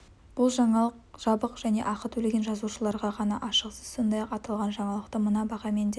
бұл жаңалық жабық және ақы төлеген жазылушыларға ғана ашық сіз сондай-ақ аталған жаңалықты мына бағамен де